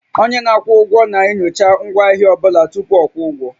Onye na-akwụ ụgwọ ego na-enyocha ngwaahịa ọ bụla tupu a kwụọ ụgwọ